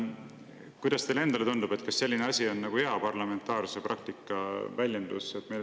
Kuidas teile tundub, kas selline asi on hea parlamentaarse praktika väljendus?